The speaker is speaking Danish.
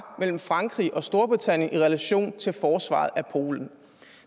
mellem frankrig og storbritannien i relation til forsvaret af polen